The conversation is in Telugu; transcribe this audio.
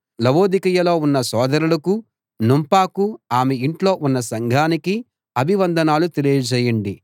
లవొదికయలో ఉన్న సోదరులకూ నుంఫాకూ ఆమె ఇంట్లో ఉన్న సంఘానికీ అభివందనాలు తెలియజేయండి